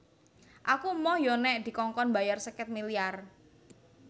Aku emoh yo nek dikongkon mbayar seket miliar